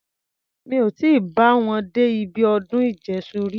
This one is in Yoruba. Mí ò tí bá wọn dé ibi ọdún ìjẹ́ṣu rí.